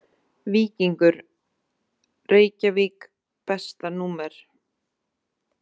Víkingur Reykjavík Besta númer?